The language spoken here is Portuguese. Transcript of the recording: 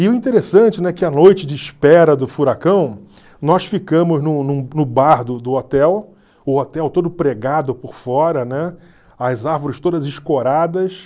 E o interessante, né, que a noite de espera do furacão, nós ficamos num num no bar do hotel, o hotel todo pregado por fora, né, as árvores todas escoradas.